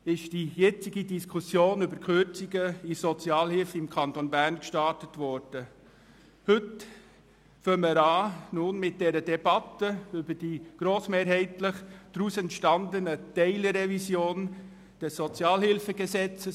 Heute beginnen wir nun in erster Lesung mit der Debatte über die grossmehrheitlich daraus entstandene Teilrevision des SHG.